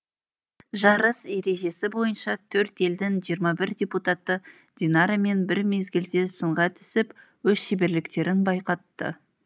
жарыс ережесі бойынша төрт елдің жиырма бір депутаты динарамен бір мезгілде сынға түсіп өз шеберліктерін байқатты